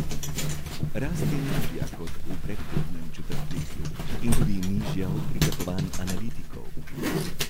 Rast je nižja kot v predhodnem četrtletju in tudi nižja od pričakovanj analitikov.